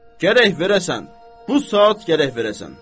Gərək verəsən, bu saat gərək verəsən.